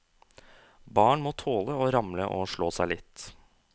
Barn må tåle å ramle og slå seg litt.